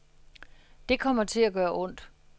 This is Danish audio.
Det kommer til at gøre ondt.